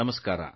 ನಮಸ್ಕಾರ